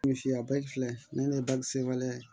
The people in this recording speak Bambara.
filɛ ne ni bakisi waleya ye